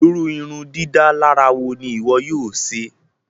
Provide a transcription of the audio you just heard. Ìru ìrundidàlarà wo ni ìwọ yóò ṣe?